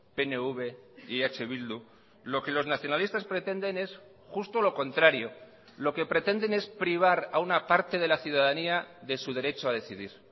pnv y eh bildu lo que los nacionalistas pretenden es justo lo contrario lo que pretenden es privar a una parte de la ciudadanía de su derecho a decidir